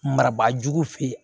Marabaa jugu fe ye